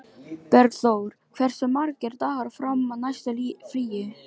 Bergþór, hversu margir dagar fram að næsta fríi?